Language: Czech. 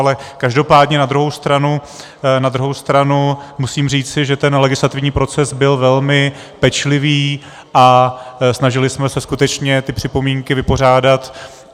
Ale každopádně na druhou stranu, na druhou stranu musím říci, že ten legislativní proces byl velmi pečlivý a snažili jsme se skutečně ty připomínky vypořádat.